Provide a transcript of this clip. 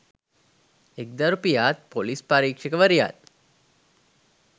එක්දරු පියාත් ‍පොලිස් පරීක්ෂකවරියත්